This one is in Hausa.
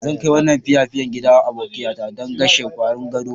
Zan kai wannan otapiapian gidan abokiya ta dan kashen kwarin godo.